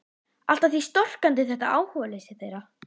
Allt að því storkandi þetta áhugaleysi þeirra.